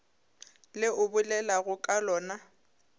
le o bolelago ka lona